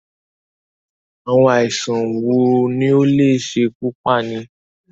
Àwọn àìsàn wo ni ó lè ṣekú pani?